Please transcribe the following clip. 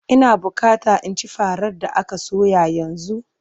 Ina bukata in ci farar da aka soya yanzu!